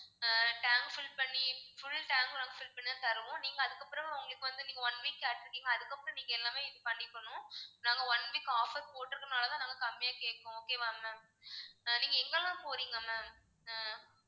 ஆஹ் tank full பண்ணி full tank உம் நாங்க full பண்ணி தான் தருவோம் நீங்க அதுக்கப்புறம் உங்களுக்கு வந்து நீங்க one week கேட்டிருக்கீங்க அதுக்கப்புறம் நீங்க எல்லாமே இது பண்ணிக்கணும் நாங்க one week offer போட்டிருக்கிறனால தான் நாங்க கம்மியா கேக்குறோம் okay வா ma'am ஆஹ் நீங்க எங்கெல்லாம் போறீங்க ma'am ஆஹ்